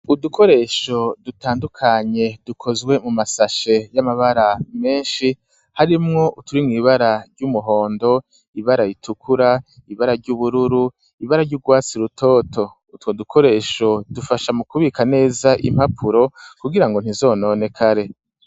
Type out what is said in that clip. Udukoresho dutandukanye, dukozwe mu masashe y'amabara menshi, harimwo uturi mw'ibara ry'umuhondo, ibara ritukura, ibara ry'ubururu, ibara ry'urwatsi rutoto; utwo dukoresho dufasha mu kubika neza impapuro, kugira ngo ntizononekare.